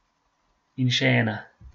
In še ena.